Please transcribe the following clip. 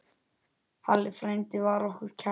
Halli frændi var okkur kær.